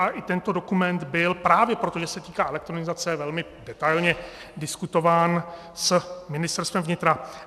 A i tento dokument byl právě proto, že se týká elektronizace, velmi detailně diskutován s Ministerstvem vnitra.